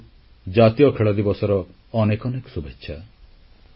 ସମସ୍ତଙ୍କୁ ଜାତୀୟ ଖେଳଦିବସର ଅନେକ ଅନେକ ଶୁଭେଚ୍ଛା